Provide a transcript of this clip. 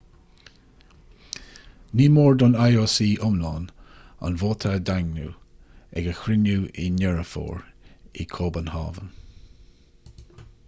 ní mór don ioc iomlán an vóta a dhaingniú ag a chruinniú i ndeireadh fómhair i gcóbanhávn